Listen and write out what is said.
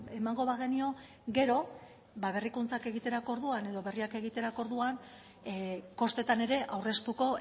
emango bagenio gero berrikuntzak egiterako orduan edo berriak egiterako orduan kostetan ere aurreztuko